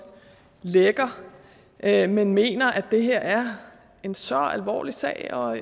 lægger men jeg mener at det her er en så alvorlig sag og